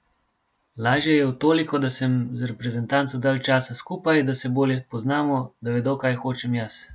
Lažje je v toliko, da sem z reprezentanco dalj časa skupaj, da se bolje poznamo, da vedo, kaj hočem jaz.